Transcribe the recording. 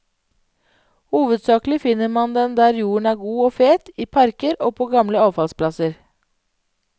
Hovedsaklig finner man den der jorden er god og fet, i parker og på gamle avfallsplasser.